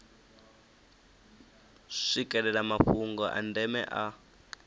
swikelela mafhungo a ndeme a